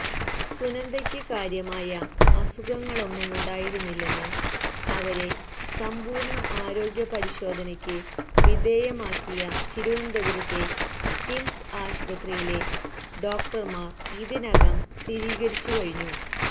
സുനന്ദയ്ക്ക് കാര്യമായ അസുഖങ്ങളൊന്നുമുണ്ടായിരുന്നില്ലെന്ന് അവരെ സമ്പൂര്ണ ആരോഗ്യപരിശോധയ്ക്ക് വിധേയമാക്കിയ തിരുവനന്തപുരത്തെ കിംസ് ആശുപത്രിയിലെ ഡോക്റ്റര്മാര് ഇതിനകം സ്ഥിരീകരിച്ചുകഴിഞ്ഞു